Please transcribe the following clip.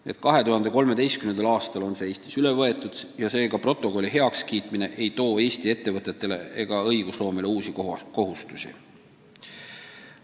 Nii et 2013. aastal on need kohustused Eestis üle võetud ja nii ei too protokolli heakskiitmine Eesti ettevõtetele ega õigusloomele uusi kohustusi.